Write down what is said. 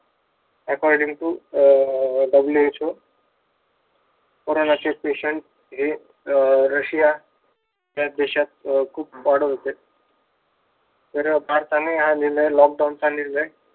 according to uh WHO कोरोनाचे patient हे अह रशिया या देशात खूप वाढत होते. तर भारताने हा निर्णय लॉकडाऊन चा निर्णय